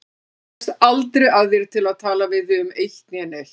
Maður kemst aldrei að þér til að tala við þig um eitt né neitt.